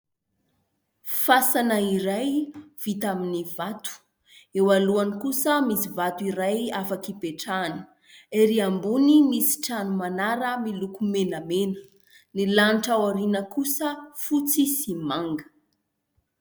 Fasana iray vita amin'ny vato. Eo alohany kosa misy vato iray afaka hipetrahana. Erỳ ambony misy trano manara miloko menamena. Ny lanitra ao aoriana kosa fotsy sy manga.